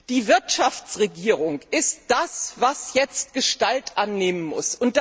Die Wirtschaftsregierung ist das, was jetzt Gestalt annehmen muss.